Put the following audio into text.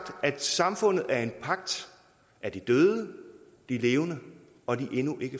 at samfundet er en pagt af de døde de levende og de endnu ikke